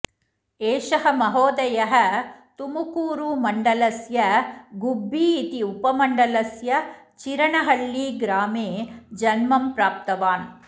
एषः महोदयः तुमुकूरुमण्डलस्य गुब्बिइति उपमण्डलस्य चिरनहळ्ळि ग्रामे जन्म प्राप्तवान्